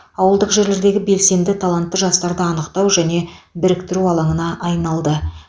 ауылдық жерлердегі белсенді талантты жастарды анықтау және біріктіру алаңына айналды